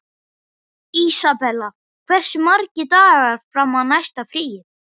Isabella, hversu margir dagar fram að næsta fríi?